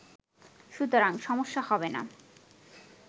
সুতরাং সমস্যা হবেনা